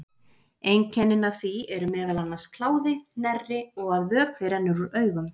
Einkennin af því eru meðal annars kláði, hnerri og að vökvi rennur úr augum.